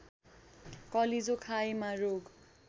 कलेजो खाएमा रोग